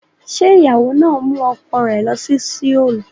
Ṣé ìyàwó náà mú ọkọ rẹ̀ lọ sí Seoul?